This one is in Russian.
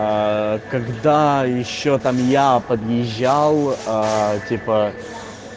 аа когда ещё там я подъезжал аа типа